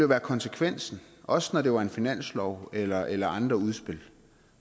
være konsekvensen også når det var en finanslov eller eller andre udspil